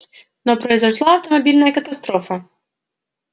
но произошла автомобильная катастрофа